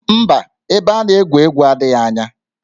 Mba, ebe a na-egwu egwu adịghị anya